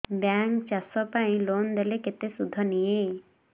bank ଚାଷ ପାଇଁ loan ଦେଲେ କେତେ ସୁଧ ନିଏ